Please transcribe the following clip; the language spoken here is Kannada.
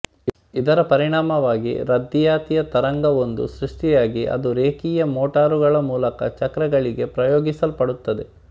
ಇದರ ಪರಿಣಾಮವಾಗಿ ರದ್ದಿಯಾತಿಯ ತರಂಗವೊಂದು ಸೃಷ್ಟಿಯಾಗಿ ಅದು ರೇಖೀಯ ಮೋಟಾರುಗಳ ಮೂಲಕ ಚಕ್ರಗಳಿಗೆ ಪ್ರಯೋಗಿಸಲ್ಪಡುತ್ತದೆ